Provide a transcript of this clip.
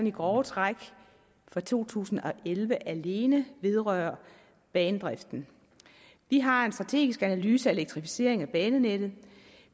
i grove træk fra to tusind og elleve alene vedrører banedriften vi har en strategisk analyse af elektrificeringen af banenettet